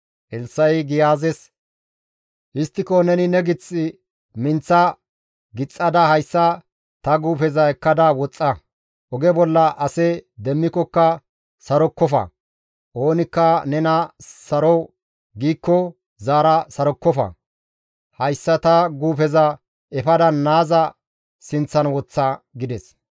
Elssa7i Giyaazes, «Histtiko neni ne gith minththa gixxada hayssa ta guufeza ekkada woxxa; oge bolla ase demmikokka sarokkofa; oonikka nena saro giikko zaara sarokkofa; hayssa ta guufeza efada naaza sinththan woththa» gides.